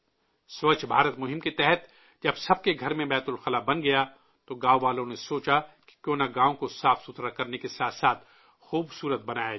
سووچھ بھارت ابھیان کے تحت جب سب کے گھر میں بیت الخلاء بن گیا تو گاؤں والوں نے سوچا کہ کیوں نہ گاؤں کو صاف کرنے کے ساتھ ساتھ خوبصور ت بنایا جائے